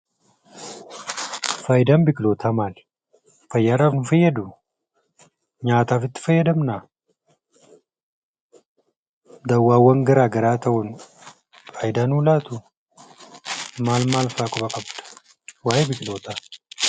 Faayidaan biqilootaa maali ? fayyaadhaaf nu fayyaduu? Nyaataf itti fayyadamnaa? dawwaawwan garaa garaa ta'uun faayidaa nuu laatuu? maal maalfaa quba qabda waa'ee biqilootaa?